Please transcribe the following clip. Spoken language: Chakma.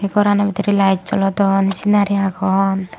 gorano bidirey light jolodon senari agon.